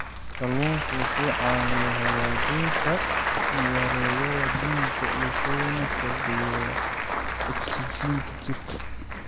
Kalluunku wuxuu caawiyaa hagaajinta wareegga dhiigga wuxuuna kordhiyaa ogsijiinta jirka.